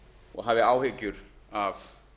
og hafi áhyggjur af